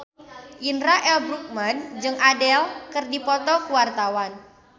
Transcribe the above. Indra L. Bruggman jeung Adele keur dipoto ku wartawan